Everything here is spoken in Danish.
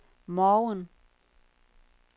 morgen